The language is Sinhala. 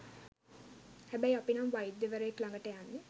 හැබැයි අපි නම් වෛද්‍යවරයෙක්‌ ළඟට යන්නෙ